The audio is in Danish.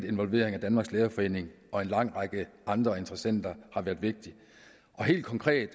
involvering af danmarks lærerforening og en lang række andre interessenter har været vigtigt helt konkret